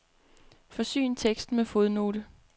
Forsyn teksten med fodnote.